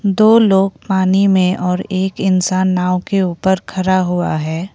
दो लोग पानी में और एक इंसान नाव के ऊपर खड़ा हुआ है।